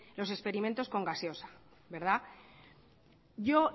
los experimentos con gaseosa yo